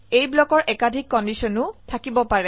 এই ব্লকৰ একাধিক কন্ডিশন ও থাকিব পাৰে